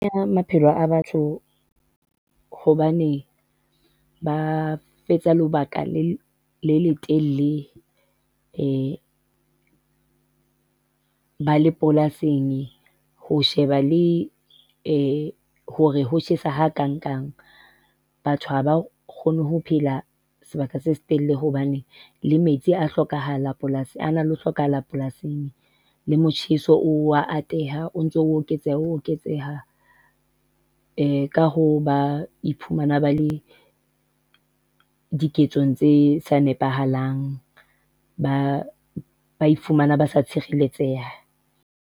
Ya maphelo a batho hobane ba fetsa lobaka le le telele ba le polasing, ho sheba le hore ho tjhesa ha kang-nkang batho haba kgone ho phela sebaka se setelele hobane, le metsi a hlokahala polasing, a na le ho hlokahala polasing, le motjheso o a ateha, o ntso o eketseha, o oketseha. Ka hoo ba iphumana ba le diketsong tse sa nepahalang, ba ba ifumana ba tshireletseha.